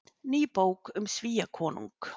Ný bók um Svíakonung